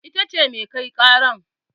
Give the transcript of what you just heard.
Ita ce mai kai ƙaran